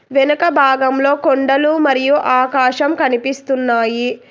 వెనక భాగంలో కొండలు మరియు ఆకాశం కనిపిస్తున్నాయి.